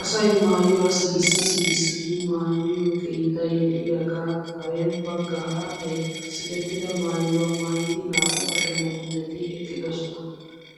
Asay maayuwaa sikissi sikkissidi maayiyoo keettay de'iyaagan kare baggaara he sikettida maayuwaa maayidi naa'u ashunguluuteti eqqidosona.